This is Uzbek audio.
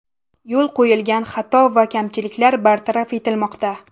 Yo‘l qo‘yilgan xato va kamchiliklar bartaraf etilmoqda.